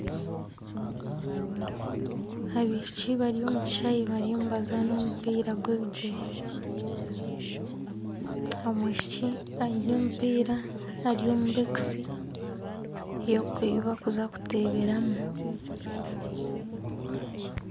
Abaishiki bari omu kishaayi bariyo nibazaana omupiira gw'ebigyere. Omwishiki aine omupiira ari omu bokisi ei bakuza kuteeberamu.